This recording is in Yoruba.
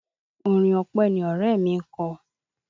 Orin ọpẹ́ ni ọ̀rẹ́ mi ń kọ.